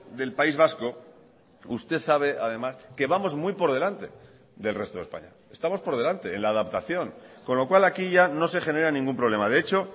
del país vasco usted sabe además que vamos muy por delante del resto de españa estamos por delante en la adaptación con lo cual aquí ya no se genera ningún problema de hecho